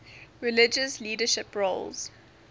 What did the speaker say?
religious leadership roles